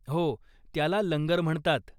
हो, त्याला लंगर म्हणतात.